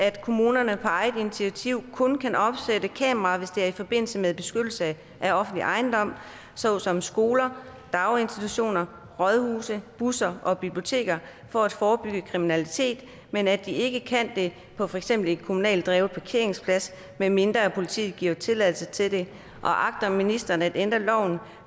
at kommunerne på eget initiativ kun kan opsætte kameraer hvis det er i forbindelse med beskyttelse af offentlig ejendom såsom skoler daginstitutioner rådhuse busser og biblioteker for at forebygge kriminalitet men at de ikke kan det på for eksempel en kommunalt drevet parkeringsplads medmindre politiet giver tilladelse til det og agter ministeren at ændre loven